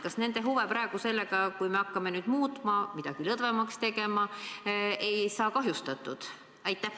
Kas nende huve sellega, kui me hakkame muutma, midagi lõdvemaks tegema, ei kahjustata?